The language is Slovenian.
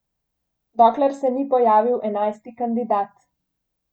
Dokler se ni pojavil enajsti kandidat ...